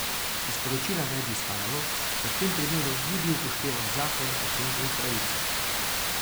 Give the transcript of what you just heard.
Iz poročila naj bi izhajalo, da v tem primeru ni bil upoštevan zakon o pacientovih pravicah.